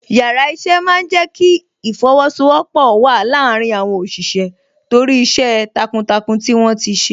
Yàrá iṣẹ́ máa ń jẹ kí ìfosowọpọ̀ wà láàárín àwọn òṣìṣẹ́ torí iṣẹ́ takuntakun tí wọ́n ti ṣe.